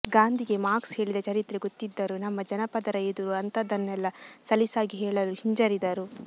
ಗಾಂಧಿಗೆ ಮಾರ್ಕ್ಸ್ ಹೇಳಿದ ಚರಿತ್ರೆ ಗೊತ್ತಿದ್ದರೂ ನಮ್ಮ ಜನಪದರ ಎದುರು ಅಂತದ್ದನ್ನೆಲ್ಲ ಸಲೀಸಾಗಿ ಹೇಳಲು ಹಿಂಜರಿದರು